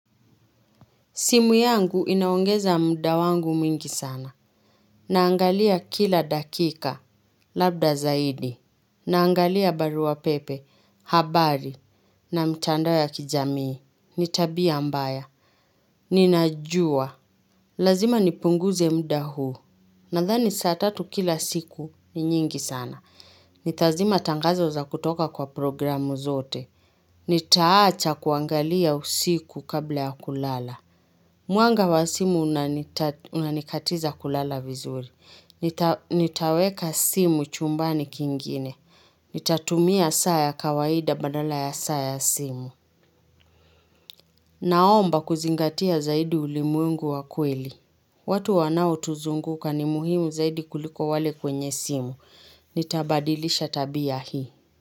Simu yangu inaongeza mda wangu mwingi sana. Naangalia kila dakika, labda zaidi. Naangalia barua pepe, habari na mchandao ya kijamii. Ni tabia mbaya. Ninajua. Lazima nipunguze mda huu. Nadhani saa tatu kila siku ni nyingi sana. Nitazima tangazo za kutoka kwa programu zote. Nitaacha kuangalia usiku kabla ya kulala. Mwanga wa simu unanikatiza kulala vizuri. Nitaweka simu chumbani kingine. Nitatumia saa ya kawaida badala ya saa ya simu. Naomba kuzingatia zaidi ulimwengu wa kweli. Watu wanaotuzunguka ni muhimu zaidi kuliko wale kwenye simu. Nitabadilisha tabia hii.